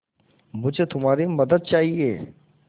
मुझे तुम्हारी मदद चाहिये